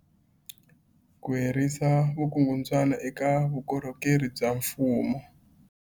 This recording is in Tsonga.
Ku herisa vukungundwani eka vukorhokeri bya mfumo.